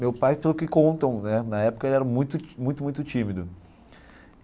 Meu pai, pelo que contam né, na época ele era muito, muito muito tímido.